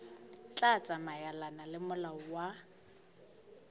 tla tsamaelana le molao wa